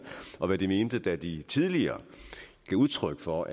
og hvad de mente da de tidligere gav udtryk for